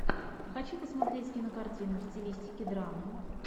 хочу посмотреть кинокартину в стилистике драмы